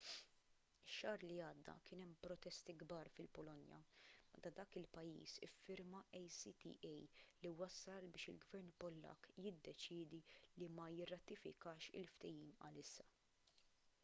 ix-xahar li għadda kien hemm protesti kbar fil-polonja meta dak il-pajjiż iffirma acta li wassal biex il-gvern pollakk jiddeċiedi li ma jirratifikax il-ftehim għalissa